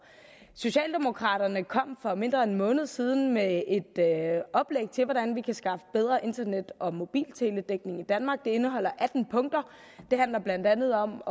socialdemokraterne kom for mindre end en måned siden med et oplæg til hvordan vi kan skaffe bedre internet og mobilteledækning i danmark det indeholder atten punkter det handler blandt andet om